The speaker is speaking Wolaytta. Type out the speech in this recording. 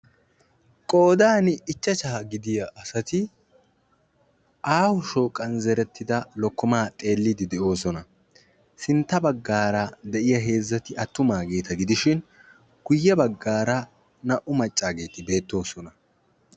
Qoodan ichachcha gidiya asati aaho shooqan zerettida lokkoma xeelidde de'oosona; sinttara de'iyaa heezzati attumageeta gidishin guyye baggara naa"u maccaageeti beettoosona.